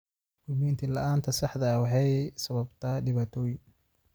Dukumeenti la'aanta saxda ah waxay sababtaa dhibaatooyin.